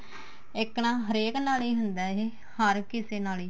ਇੱਕ ਨਾ ਹਰੇਕ ਨਾਲ ਹੀ ਹੁੰਦਾ ਇਹ ਹਰ ਕਿਸੇ ਨਾਲ ਈ